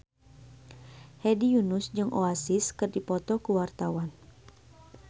Hedi Yunus jeung Oasis keur dipoto ku wartawan